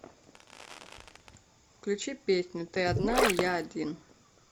включи песню ты одна и я один